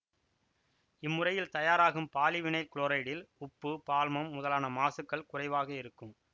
இம்முறையில் தயாராகும் பாலிவைனைல் குளோரைடில் உப்பு பால்மம் முதலான மாசுக்கள் குறைவாக இருக்கும்